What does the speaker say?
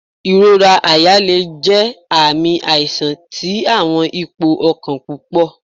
Ìrora àyà le jẹ aami aisan ti awọn ipo ọkan pupọ